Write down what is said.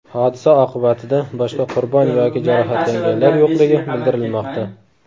Hodisa oqibatida boshqa qurbon yoki jarohatlanganlar yo‘qligi bildirilmoqda.